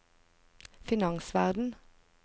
finansverden